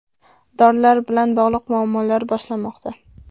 Dorilar bilan bog‘liq muammolar boshlanmoqda.